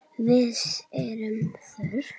Vits er þörf